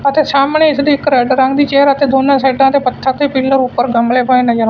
ਅਤੇ ਸਾਹਮਣੇ ਇਸਦੀ ਇੱਕ ਰੈਡ ਰੰਗ ਦੀ ਚੇਅਰ ਤੇ ਦੋਨਾਂ ਸਾਈਡਾਂ ਤੇ ਪੱਥਰ ਤੇ ਪਿੱਲਰ ਉੱਪਰ ਗਮਲੇ ਪਏ ਨਜ਼ਰ ਆ--